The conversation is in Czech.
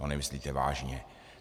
To nemyslíte vážně!